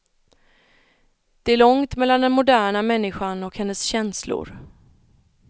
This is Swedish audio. Det är långt mellan den moderna människan och hennes känslor.